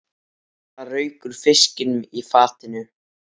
Það rauk úr fiskinum í fatinu.